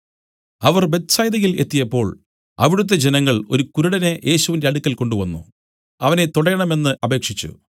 അവർ ബേത്ത്സയിദയിൽ എത്തിയപ്പോൾ അവിടുത്തെ ജനങ്ങൾ ഒരു കുരുടനെ യേശുവിന്റെ അടുക്കൽ കൊണ്ടുവന്നു അവനെ തൊടേണമെന്ന് അപേക്ഷിച്ചു